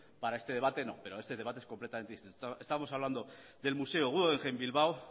para este debate no pero este debate es completamente distinto estamos hablando del museo guggenheim bilbao